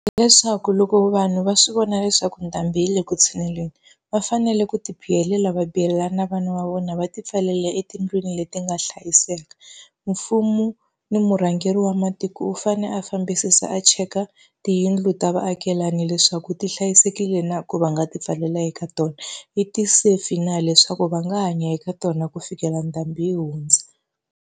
Hi leswaku loko vanhu va swi vona leswaku ndhambi yi le ku tshuneleni, va fanele ku tibihelela va bihelela ni vana va vona va tipfalela etindlwini leti nga hlayiseka. Mfumo ni murhangeri wa matiko u fanele a fambisisa a cheka tiyindlu ta vaakelani leswaku ti hlayisekile na ku va nga ti pfalela eka tona. ti safe na leswaku va nga hanya eka tona ku fikela ndhambi yi hundza.